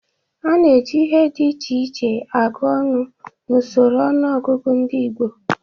A na-eji ihe dị iche iche agụ ọnụ n'usoro ọnụọgụgụ ndị Igbo.